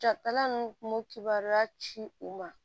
Jatala nu kun b'u kibaruya ci u ma